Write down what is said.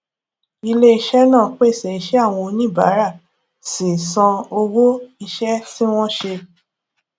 ilè iṣé náà pèsè iṣẹ́ àwọn oníbàárà sì san owó iṣẹ́ tí wọ́n ṣe